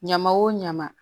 Ɲama o ɲama